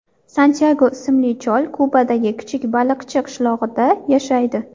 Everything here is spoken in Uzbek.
Santyago ismli chol Kubadagi kichik baliqchi qishlog‘ida yashaydi.